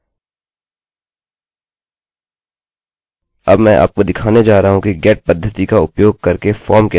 अब मैं आपको दिखाने जा रहा हूँ कि गेट पद्धति का उपयोग करके फॉर्म कैसे जमा करते हैं